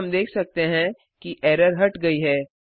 अब हम देख सकते हैं कि एरर हट गई है